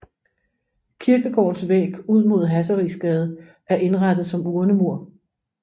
Kirkegårdens væg ud mod Hasserisgade er indrettet som urnemur